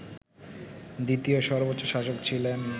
দ্বিতীয় সর্বোচ্চ শাষক ছিলেন